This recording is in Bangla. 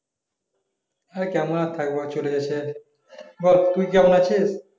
আর কেমন আর থাকবো চলে যাচ্ছে বল তুই কেমন আছিস